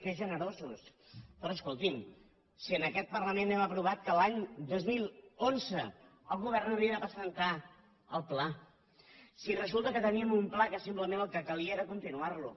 que generosos però escolti’m si en aquest parlament hem aprovat que l’any dos mil onze el govern havia de presentar el pla si resulta que teníem un pla que simplement el que calia era continuar lo